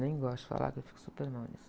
Nem gosto de falar que eu fico super mal nisso.